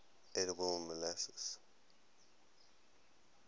edible molluscs